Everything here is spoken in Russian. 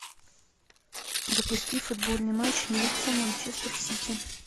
запусти футбольный матч ньюкасл манчестер сити